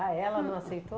Ah, ela não aceitou?